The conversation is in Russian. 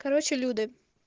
короче люда